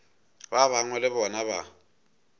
ba bangwe le bona ba